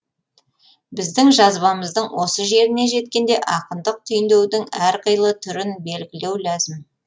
біздің жазбамыздың осы жеріне жеткенде ақындық түйіндеудің әр қилы түрін белгілеу ләзім